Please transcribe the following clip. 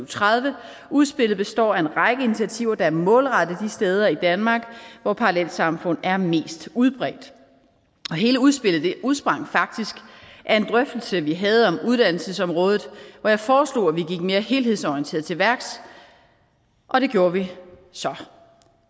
tredive og udspillet består af en række initiativer der er målrettet de steder i danmark hvor parallelsamfund er mest udbredt hele udspillet udsprang faktisk af en drøftelse vi havde om uddannelsesområdet hvor jeg foreslog at vi gik mere helhedsorienteret til værks og det gjorde vi så